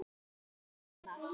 Það kólnar.